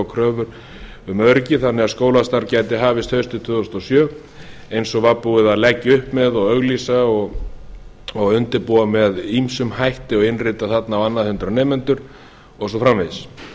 kröfur um öryggi þannig að skólastarf gæti hafist haustið tvö þúsund og sjö eins og var búið að leggja upp með og auglýsa og undirbúa með ýmsum hætti og innrita þarna á annað hundrað nemendur og svo framvegis